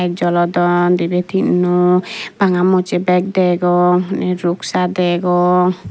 jolodon dibey tinno bagamusje bag degong in ruksa degong.